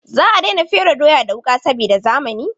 Za a daina fere doya da wuƙa saboda zamani.